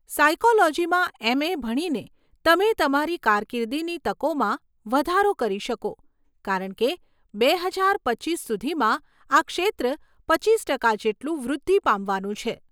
સાયકોલોજીમાં MA. ભણીને તમે તમારી કારકિર્દીની તકોમાં વધારો કરી શકો કારણ કે બે હજાર પચીસ સુધીમાં આ ક્ષેત્ર પચીસ ટકા જેટલું વૃદ્ધિ પામવાનું છે.